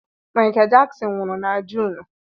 Michael Jackson nwụrụ na June.